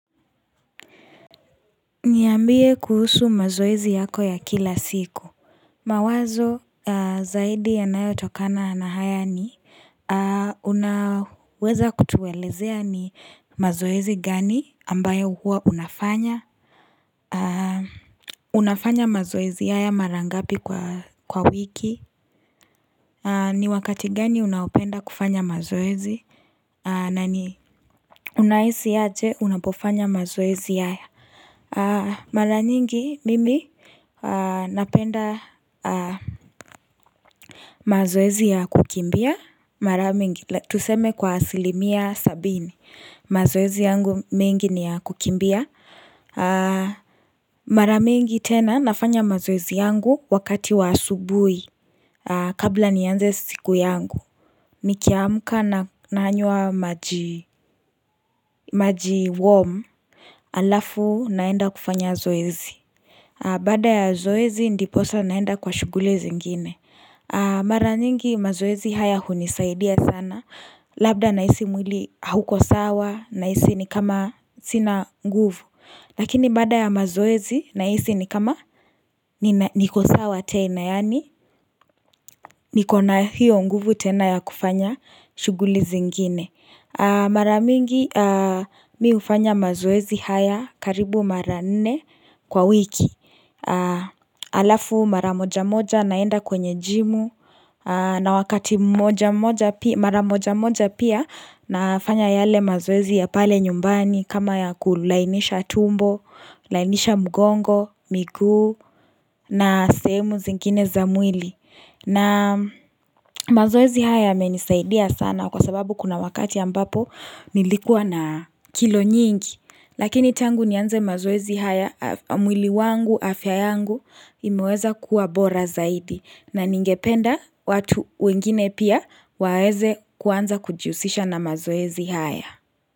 Niambie kuhusu mazoezi yako ya kila siku. Mawazo zaidi ya nayo tokana nahaya ni. Unaweza kutuelezea ni mazoezi gani ambayo huwa unafanya. Unafanya mazoezi haya mara ngapi kwa wiki. Ni wakati gani unaopenda kufanya mazoezi. Nani? Unaisi yate unapofanya mazoezi haya. Mara nyingi mimi. Napenda mazoezi ya kukimbia mara mingi Tuseme kwa asilimia sabini mazoezi yangu mengi ni ya kukimbia Mara mingi tena nafanya mazoezi yangu wakati wa asubui kabla nianze siku yangu nikiamuka nanywa maji warm alafu naenda kufanya zoezi Baada ya zoezi ndiposa naenda kwa shuguli zingine Mara nyingi mazoezi haya hunisaidia sana Labda na hisi mwili hauko sawa na hisi ni kama sina nguvu Lakini bada ya mazoezi na hisi ni kama niko sawa tena yani Nikona hiyo nguvu tena ya kufanya shuguli zingine Mara mingi mimi hufanya mazoezi haya karibu mara nene kwa wiki Alafu mara moja moja naenda kwenye jimu na wakati mara moja moja pia nafanya yale mazoezi ya pale nyumbani kama ya kulainisha tumbo, lainisha mugongo, migu na sehemu zingine zamwili na mazoezi haya yamenisaidia sana kwa sababu kuna wakati ambapo nilikua na kilo nyingi Lakini tangu nianze mazoezi haya mwili wangu afya yangu imeweza kuwa bora zaidi na ningependa watu wengine pia waweze kuanza kujihusisha na mazoezi haya.